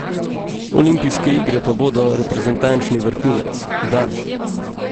Olimpijske igre pa bodo reprezentančni vrhunec, da.